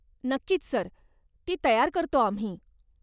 नक्कीच सर, ती तयार करतो आम्ही.